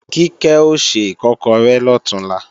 Kíkẹ́ o se Ìkọ́kọrẹ́ lọ̀túnla